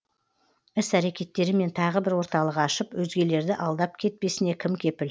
іс әрекеттерімен тағы бір орталық ашып өзгелерді алдап кетпесіне кім кепіл